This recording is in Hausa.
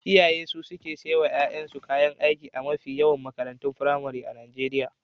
Iyaye su suke saya wa ƴaƴansu kayan aiki a mafi yawan makarantun firamare na Najeriya.